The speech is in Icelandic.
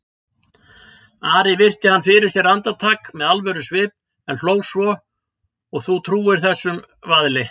Ari virti hann fyrir sér andartak með alvörusvip en hló svo,-og þú trúir þessum vaðli?